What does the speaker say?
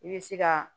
I bɛ se ka